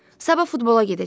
Sabah futbola gedəcəkdi.